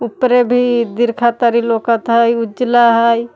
उपरे भी दीर्घा तरी लौकत हई उजला हई।